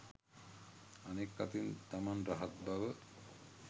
අනෙක් අතින් තමන් රහත් බව